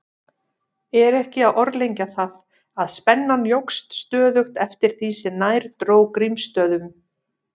Er ekki að orðlengja það, að spennan jókst stöðugt eftir því sem nær dró Grímsstöðum.